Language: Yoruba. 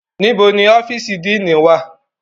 Nibo ni ọfiisi Díinì wa?